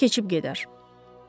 Amma keçib gedər.